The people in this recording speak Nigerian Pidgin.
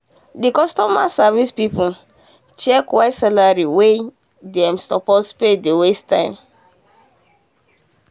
the customer service people check why salary wey dem suppose pay dey waste time.